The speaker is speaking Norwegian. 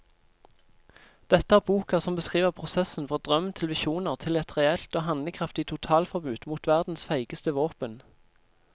Dette er boka som beskriver prosessen fra drøm til visjoner til et reelt og handlekraftig totalforbud mot verdens feigeste våpen.